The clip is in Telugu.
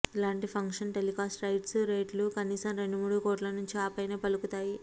ఇలాంటి ఫంక్షన్ టెలికాస్ట్ రైట్స్ రేట్లు కనీసం రెండు మూడు కోట్ల నుంచి ఆ పైన పలుకుతాయి